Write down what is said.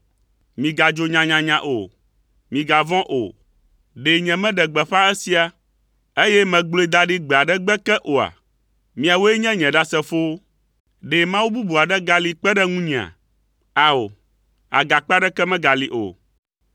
Migadzo nyanyanya o. Migavɔ̃ o. Ɖe nyemeɖe gbeƒã esia, eye megblɔe da ɖi gbe aɖe gbe ke oa? Miawoe nye nye ɖasefowo. Ɖe Mawu bubu aɖe gali kpe ɖe ŋunyea? Ao, Agakpe aɖeke megali o.”